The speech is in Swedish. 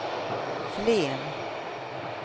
Flen